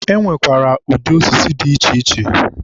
e nwekwara ụdị osisi dị iche iche.